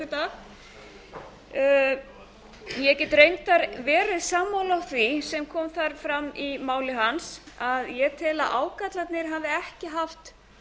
síðastliðinn miðvikudag ég get reyndar verið sammála því sem kom fram í máli hans að ég tel að ágallarnir hafi ekki haft